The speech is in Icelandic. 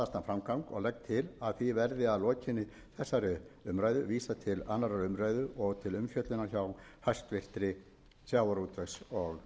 að því verði að lokinni þessari umræðu vísað til annarrar umræðu og